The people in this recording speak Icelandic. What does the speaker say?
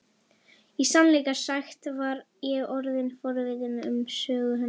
Í sannleika sagt var ég orðin forvitin um sögu hennar.